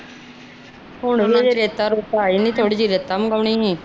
ਹੁਣ ਉਹਨਾਂ ਦੀ ਰੇਤਾ ਰੁਤਾ ਆਈ ਨੀ ਤੇ ਥੋੜੀ ਰੇਤਾ ਮੰਗੂਣੀ ਸੀਗੀ